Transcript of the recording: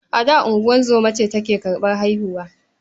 A da, ungozoma ce ke karɓar haihuwa.